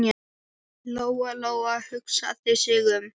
Lóa-Lóa hugsaði sig um.